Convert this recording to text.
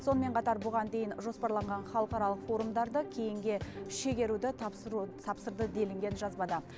сонымен қатар бұған дейін жоспарланған халықаралық форумдарды кейінге шегеруді тапсырды делінген жазбада